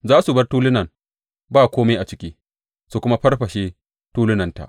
Za su bar tulunan ba kome a ciki su kuma farfashe tulunanta.